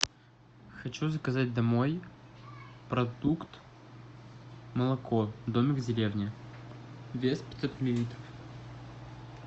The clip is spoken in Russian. хочу заказать домой продукт молоко домик в деревне вес пятьсот миллилитров